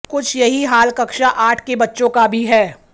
कुछ यही हाल कक्षा आठ के बच्चों का भी है